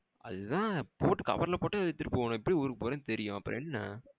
அதுதான் போட்டு cover ல போட்டு எடுத்துட்டு போகணும் எப்டியும் ஊருக்கு போறேன்னு தெரியும் அப்புறம் என்ன?